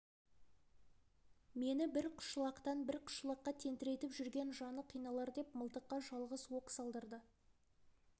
мені бір қышлақтан бір қышлаққа тентіретіп жүрген жаны қиналар деп мылтыққа жалғыз оқ салдырды